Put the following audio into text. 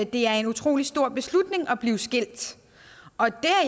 det er en utrolig stor beslutning at blive skilt og det